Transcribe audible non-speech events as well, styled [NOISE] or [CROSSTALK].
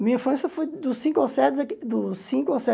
A minha infância foi dos cinco aos sete [UNINTELLIGIBLE] dos cinco aos sete